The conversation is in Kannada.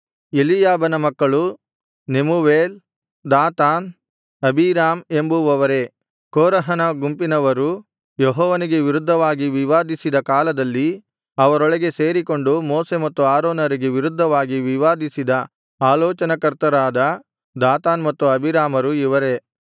ಎಲೀಯಾಬನ ಮಕ್ಕಳು ನೆಮೂವೇಲ್ ದಾತಾನ್ ಅಬೀರಾಮ್ ಎಂಬುವವರೇ ಕೋರಹನ ಗುಂಪಿನವರು ಯೆಹೋವನಿಗೆ ವಿರುದ್ಧವಾಗಿ ವಿವಾದಿಸಿದ ಕಾಲದಲ್ಲಿ ಅವರೊಳಗೆ ಸೇರಿಕೊಂಡು ಮೋಶೆ ಮತ್ತು ಆರೋನರಿಗೆ ವಿರುದ್ಧವಾಗಿ ವಿವಾದಿಸಿದ ಆಲೋಚನಾಕರ್ತರಾದ ದಾತಾನ್ ಮತ್ತು ಅಬೀರಾಮರು ಇವರೇ